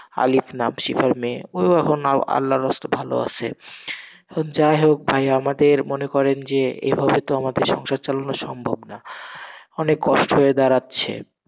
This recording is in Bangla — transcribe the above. আলিফ নাম, সিফার মেয়ে, ওউ এখন আল্লাহর রসতে ভালো আসে, যাই হোক ভাই, এখন মনে করেন, এইভাবে তো আমাদের সংসার চালানো সম্ভব না, অনেক কষ্ট হয়ে দাড়াচ্ছে,